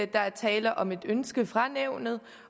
der er tale om et ønske fra nævnet